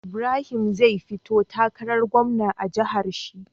Ibrahim zai fito takarar gwamna a jahar shi